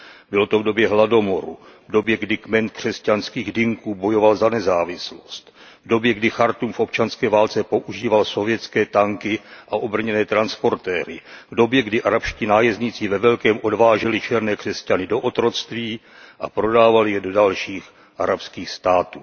Bylo to v době hladomoru, v době, kdy kmen křesťanských Dinků bojoval za nezávislost, v době, kdy Chartúm v občanské válce používal sovětské tanky a obrněné transportéry, v době, kdy arabští nájezdníci ve velkém odváželi černé křesťany do otroctví a prodávali je do dalších arabských států.